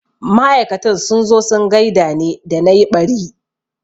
Ma'aikatan sun zo sun gaida ne da na yi ɓari